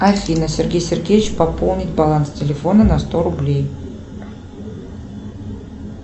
афина сергей сергеевич пополнить баланс телефона на сто рублей